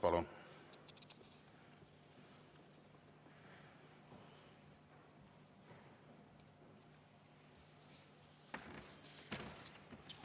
Palun!